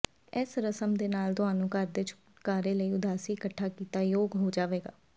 ਇਸ ਰਸਮ ਦੇ ਨਾਲ ਤੁਹਾਨੂੰ ਘਰ ਦੇ ਛੁਟਕਾਰੇ ਲਈ ਉਦਾਸੀ ਇਕੱਠਾ ਕੀਤਾ ਯੋਗ ਹੋ ਜਾਵੇਗਾ